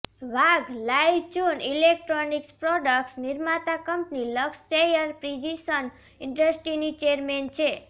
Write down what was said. Wang Laichun electronics products નિર્માતા company Luxshare precision ઇન્ડસ્ટ્રીની chairman છે